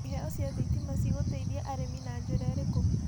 Iheo cia thitima cigũteithia arĩmi na njĩra ĩrĩkũ?